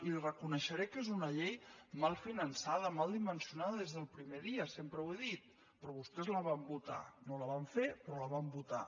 li reconeixeré que és una llei mal finançada mal dimensionada des del pri·mer dia sempre ho he dit però vostès la van votar no la van fer però la van votar